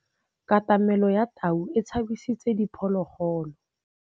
Katamêlô ya tau e tshabisitse diphôlôgôlô.